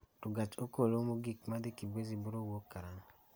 To gach okolomogik ma dhi Kibwezi biro wuok karang�o?